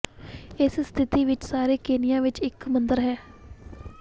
ਇਸ ਸਥਿਤੀ ਵਿੱਚ ਸਾਰੇ ਕੀਨੀਆ ਵਿੱਚ ਇੱਕ ਹੀ ਮੰਦਰ ਹੈ